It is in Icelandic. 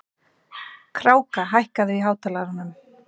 Kráka, hækkaðu í hátalaranum.